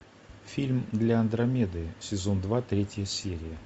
фильм для андромеды сезон два третья серия